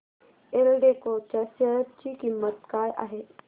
एल्डेको च्या शेअर ची किंमत काय आहे